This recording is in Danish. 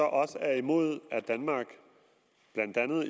også er imod at danmark blandt andet